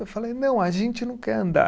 Eu falei, não, a gente não quer andar.